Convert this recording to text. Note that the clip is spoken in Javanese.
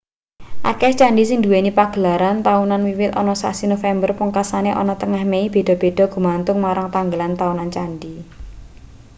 akeh candhi sing nduweni pagelaran taunan wiwit ana sasi nopember pungkasane ana tengah mei beda-beda gumantung marang tanggalan taunan candhi